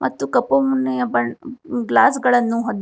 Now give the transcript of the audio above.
ಮತ್ತು ಕಪ್ಪು ಮನ್ನಿಯ ಬನ್ ಗ್ಲಾಸ್ ಗಳನ್ನು ಹೊಂದಿ--